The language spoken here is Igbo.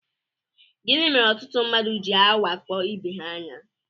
Gịnị mere ọtụtụ mmadụ jị awakpo ibe ha anya?